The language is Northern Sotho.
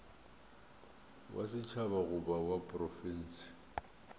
wa setšhaba goba wa profense